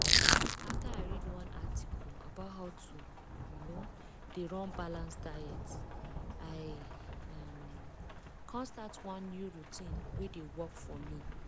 after i read one article about how to um dey run balanced diet i um come start one new routine wey dey work for me.